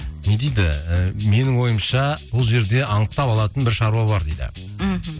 не дейді ііі менің ойымша бұл жерде анықтап алатын бір шаруа бар дейді мхм